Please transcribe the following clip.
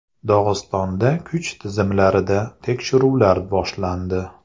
Dog‘istonda kuch tizimlarida tekshiruvlar boshlandi.